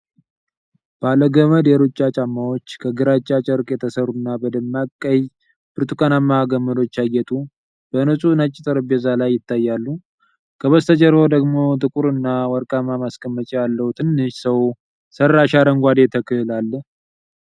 ባለ ገመድ የሩጫ ጫማዎች፣ ከግራጫ ጨርቅ የተሠሩና በደማቅ ቀይ-ብርቱካናማ ገመዶች ያጌጡ፣ በንጹሕ ነጭ ጠረጴዛ ላይ ይታያሉ። ከበስተጀርባው ደግሞ ጥቁር እና ወርቃማ ማስቀመጫ ያለው ትንሽ ሰው ሰራሽ አረንጓዴ ተክል አለ።